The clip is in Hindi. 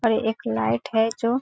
और एक लाइट है जो --